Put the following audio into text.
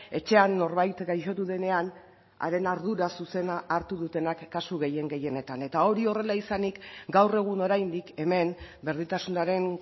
etxean norbait gaixotu denean haren ardura zuzena hartu dutenak kasu gehien gehienetan eta hori horrela izanik gaur egun oraindik hemen berdintasunaren